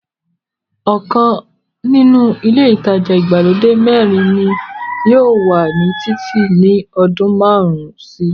ọkàn nínú ilé ìtajà ìgbàlódé mẹ́rin ni yóò wà ní títì ní ọdún márùn-ún síi.